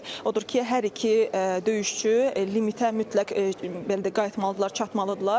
Odur ki, hər iki döyüşçü limitə mütləq belə deyək qayıtmalıdırlar, çatmalıdırlar.